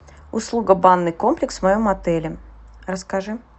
услуга банный комплекс в моем отеле расскажи